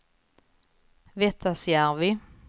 Vettasjärvi